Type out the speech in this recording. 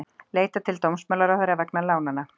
Leita til dómsmálaráðherra vegna lánanna